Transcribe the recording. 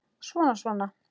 Svona, svona